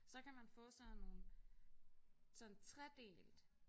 Så kan man få sådan nogle sådan tredelt